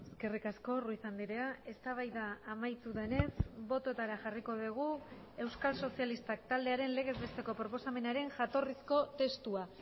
eskerrik asko ruiz andrea eztabaida amaitu denez bototara jarriko dugu euskal sozialistak taldearen legez besteko proposamenaren jatorrizko testua